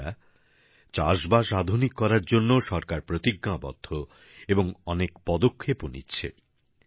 বন্ধুরা চাষবাস আধুনিক করার জন্য সরকার প্রতিজ্ঞাবদ্ধ এবং অনেক পদক্ষেপও নিচ্ছে